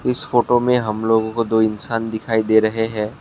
इस फोटो में हम लोगों को दो इंसान दिखाई दे रहे हैं।